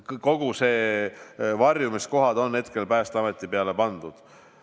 Kogu see varjumiskohtade teema on Päästeameti kompetentsi antud.